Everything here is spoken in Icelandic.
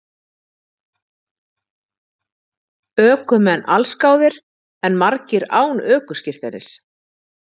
Ökumenn allsgáðir en margir án ökuskírteinis